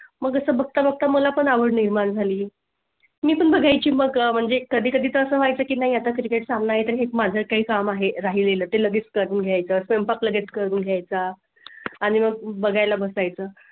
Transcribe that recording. मग तसं बघता फक्त मला पण आवड निर्माण झाली . मी पण बघाय ची मग म्हणजे अह कधी कधी तर असं व्हाय चं की नाही आता सामना आहे माझं काय काम आहे राहिले ते लगेच करून घ्यायचं project करून घ्याय चा आणि मग बघायला बसायचं